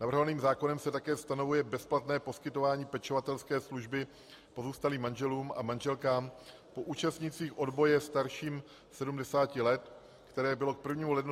Navrhovaným zákonem se také stanovuje bezplatné poskytování pečovatelské služby pozůstalým manželům a manželkám po účastnících odboje starším 70 let, které bylo k 1. lednu 2014 zrušeno.